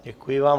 Děkuji vám.